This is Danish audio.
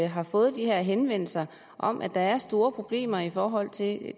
har fået de her henvendelser om at der er store problemer i forhold til